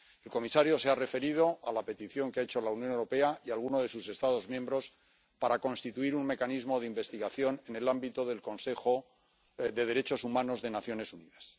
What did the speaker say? El comisario se ha referido a la petición que han hecho la Unión Europea y alguno de sus Estados miembros para constituir un mecanismo de investigación en el ámbito del Consejo de Derechos Humanos de las Naciones Unidas.